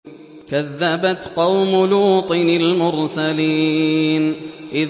كَذَّبَتْ قَوْمُ لُوطٍ الْمُرْسَلِينَ